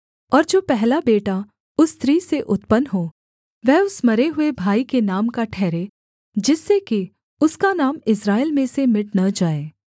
और जो पहला बेटा उस स्त्री से उत्पन्न हो वह उस मरे हुए भाई के नाम का ठहरे जिससे कि उसका नाम इस्राएल में से मिट न जाए